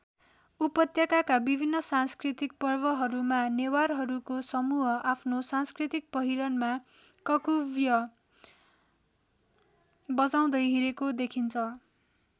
उपत्यकाका विभिन्न सांस्कृतिक पर्वहरूमा नेवारहरूको समूह आफ्नो सांस्कृतिक पहिरनमा ककुवय् बजाउँदै हिँडेको देखिन्छ।